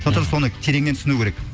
сондықтан соны тереңнен түсінуі керек